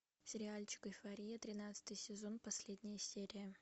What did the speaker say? сериальчик эйфория тринадцатый сезон последняя серия